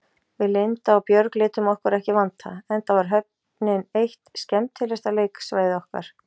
Við Linda og Björg létum okkur ekki vanta, enda var höfnin eitt skemmtilegasta leiksvæði okkar.